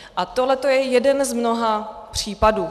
A tohleto je jeden z mnoha případů.